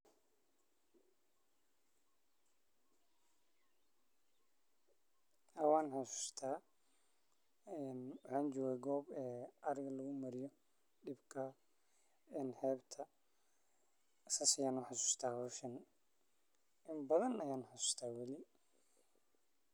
Haa wan xasusata waxan joga gob ariga dibka lagu mariya sas ayan u xasusta hoshan in badan aya wali xasusta.